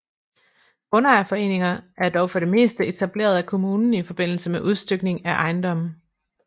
Grundejerforeninger er dog for det meste etableret af kommunen i forbindelse med udstykning af ejendomme